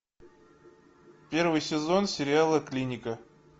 первый сезон сериала клиника